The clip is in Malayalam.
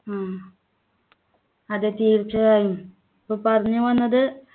ആഹ് അതെ തീർച്ചയായും പ്പോ പറഞ്ഞുവന്നത്